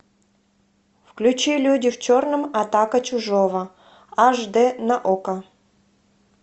включи люди в черном атака чужого аш д на окко